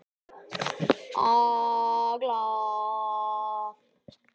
Agla